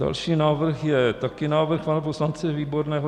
Další návrh je taky návrh pana poslance Výborného.